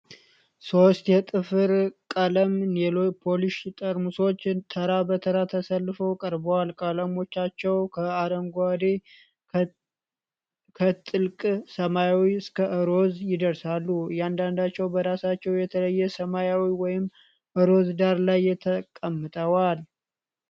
ሶስት የጥፍር ቀለም (ኔይል ፖሊሽ) ጠርሙሶች ተራ በተራ ተሰልፈው ቀርበዋል። ቀለሞቻቸው ከአረንጓዴ፣ ከጥልቅ ሰማያዊ እስከ ሮዝ ይደርሳሉ። እያንዳንዳቸው በራሳቸው የተለየ ሰማያዊ ወይም ሮዝ ዳራ ላይ ተቀምጠዋል።